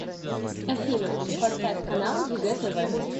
афина поставь канал егэ тв